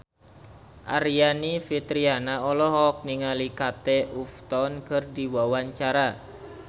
Aryani Fitriana olohok ningali Kate Upton keur diwawancara